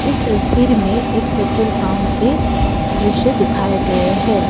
तस्वीर में एक पेट्रोल पम्प के दृश्य दिखाए गए है।